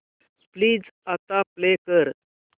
please आता play कर